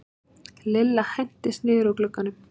Lilla hentist niður úr glugganum.